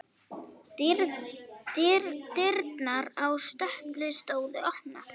Dyrnar á stöpli stóðu opnar.